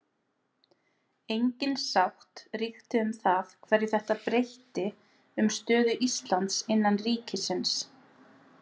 Engin sátt ríkti um það hverju þetta breytti um stöðu Íslands innan ríkisins.